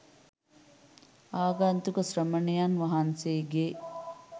ආගන්තුක ශ්‍රමණයන් වහන්සේ ගේ